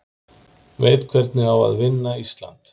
Veit hvernig á að vinna Ísland